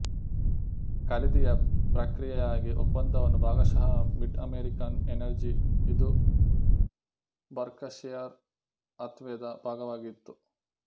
ಖರೀದಿಯ ಪ್ರಕ್ರಿಯೆಗಾಗಿ ಒಪ್ಪಂದವನ್ನು ಭಾಗಶಃ ಮಿಡ್ ಅಮೆರಿಕನ್ ಎನರ್ಜಿಇದು ಬೆರ್ಕಶೆಯರ್ ಹಾಥ್ ವೆ ದ ಭಾಗವಾಗಿತ್ತು